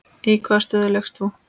Í hvaða stöðu lékst þú?